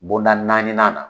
Bonda naani nan